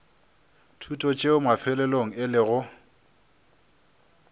thuto tšeo mafelelong e lego